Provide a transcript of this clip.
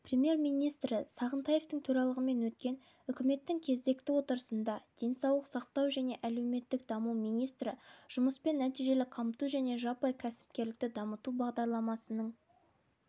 премьер-министрі сағынтаевтың төрағалығымен өткен үкіметтің кезекті отырысында денсаулық сақтау және әлеуметтік даму министрі жұмыспен нәтижелі қамту және жаппай кәсіпкерлікті дамыту бағдарламасының